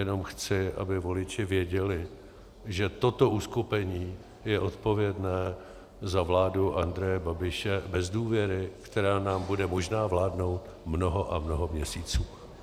Jenom chci, aby voliči věděli, že toto uskupení je odpovědné za vládu Andreje Babiše bez důvěry, která nám bude možná vládnout mnoho a mnoho měsíců.